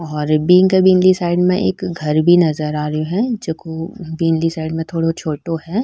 और बिक बिली साइड में एक घर भी नजर आ रहे है जोको बिली साइड में थोड़ा छोटो है।